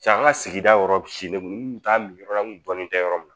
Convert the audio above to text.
Cɛ an ka sigida yɔrɔ silen don n kun t'a min yɔrɔ la n kun dɔnnen tɛ yɔrɔ min na